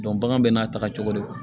bagan bɛ n'a ta cogo de don